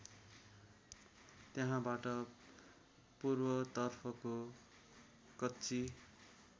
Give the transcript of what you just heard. त्यहाँबाट पूर्वतर्फको कच्ची